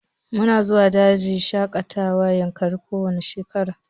Mu na zuwa dajin shaƙatawan yankari ko wanne shekara